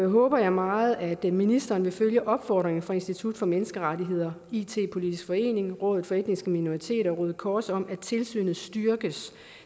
håber jeg meget at ministeren vil følge opfordringen fra institut for menneskerettigheder it politisk forening rådet for etniske minoriteter og røde kors om at tilsynet styrkes